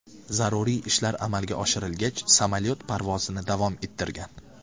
Zaruriy ishlar amalga oshirilgach, samolyot parvozini davom ettirgan.